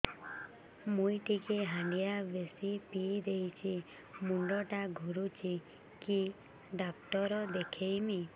ମୁଇ ଟିକେ ହାଣ୍ଡିଆ ବେଶି ପିଇ ଦେଇଛି ମୁଣ୍ଡ ଟା ଘୁରୁଚି କି ଡାକ୍ତର ଦେଖେଇମି